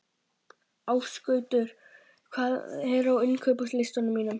Ásgautur, hvað er á innkaupalistanum mínum?